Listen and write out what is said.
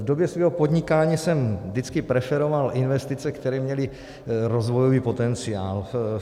V době svého podnikání jsem vždycky preferoval investice, které měly rozvojový potenciál.